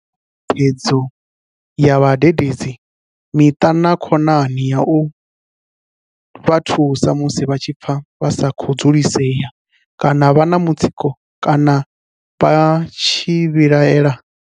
Vha na thikhedzo ya vhade dedzi, miṱa na khonani ya u vha thusa musi vha tshi pfa vha sa khou dzulisea kana vha na mutsiko kana vha tshi vhi laela?